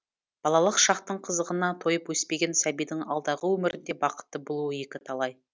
балалық шақтың қызығына тойып өспеген сәбидің алдағы өмірінде бақытты болуы екі талай